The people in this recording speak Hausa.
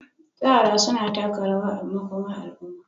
tsara suna taka rawa a makomar al'umma.